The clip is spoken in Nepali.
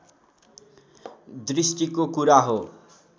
दृष्टिको कुरा हो